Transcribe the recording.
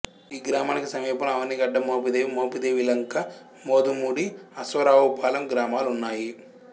ఈ గ్రామానికి సమీపంలో అవనిగడ్డ మోపిదేవి మోపిదేవిలంక మోదుమూడి అశ్వారావుపాలెం గ్రామాలు ఉన్నాయి